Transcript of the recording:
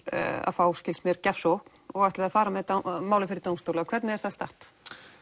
að fá skilst mér gjafsókn og ætlið að fara með málið fyrir dómstóla hvernig er það statt